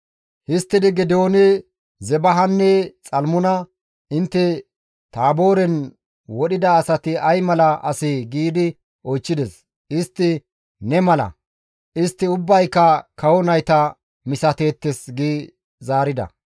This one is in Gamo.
Histtidi Geedooni Zebahanne Xalmuna, «Intte Taabooren wodhida asati ay mala asee?» giidi oychchides; istti, «Ne mala; istti ubbayka kawo nayta misateettes» gi zaarida.